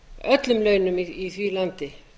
öllum launum í því landi